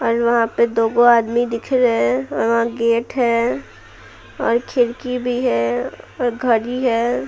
और वहां पे दोगो आदमी दिख रहे हैं और वहां गेट है और खिड़की भी है और घड़ी है।